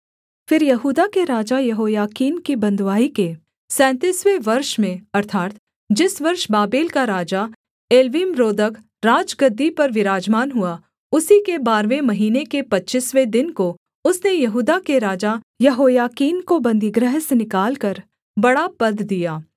फिर यहूदा के राजा यहोयाकीन की बँधुआई के सैंतीसवें वर्ष में अर्थात् जिस वर्ष बाबेल का राजा एवील्मरोदक राजगद्दी पर विराजमान हुआ उसी के बारहवें महीने के पच्चीसवें दिन को उसने यहूदा के राजा यहोयाकीन को बन्दीगृह से निकालकर बड़ा पद दिया